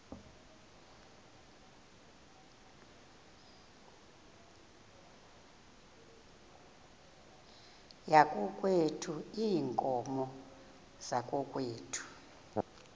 yakokwethu iinkomo zakokwethu